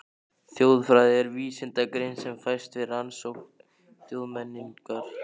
Þjóðfræði er vísindagrein sem fæst við rannsókn þjóðmenningar.